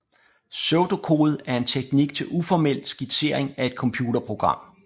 Pseudokode er en teknik til uformel skitsering af et computerprogram